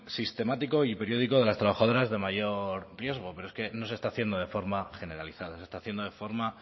sistemático y periódico de las trabajadoras de mayor riesgo pero es que no se está haciendo de forma generalizada se está haciendo de forma